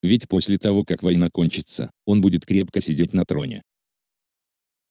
ведь после того как война кончится он будет крепко сидеть на троне